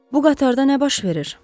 Bu qatarda nə baş verir?